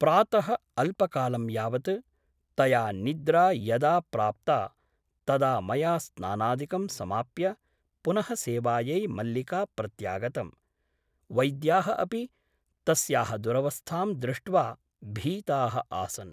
प्रातः अल्पकालं यावत् तया निद्रा यदा प्राप्ता तदा मया स्नानादिकं समाप्य पुनः सेवायै मल्लिका प्रत्यागतम् । वैद्याः अपि तस्याः दुरवस्थां दृष्ट्वा भीताः आसन् ।